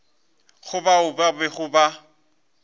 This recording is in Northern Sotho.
go bao ba bego ba